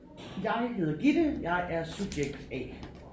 Jeg heder Gitte jeg er subjekt A